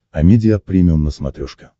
амедиа премиум на смотрешке